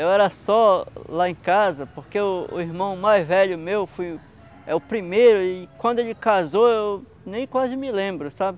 Eu era só lá em casa, porque o o irmão mais velho meu foi o primeiro e quando ele casou eu nem quase me lembro, sabe?